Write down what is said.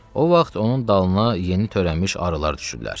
O vaxt onun dalına yeni törənmiş arılar düşüblər.